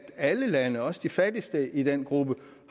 alle lande også de fattigste i den gruppe